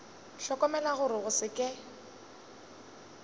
hlokomela gore go se ke